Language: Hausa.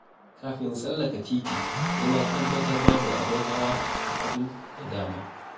Kafin in tsallaka titi sai na tabbatar babu abin hawa hagu da dama.